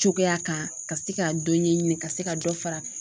Cogoya kan ka se ka dɔ ɲɛɲini ka se ka dɔ fara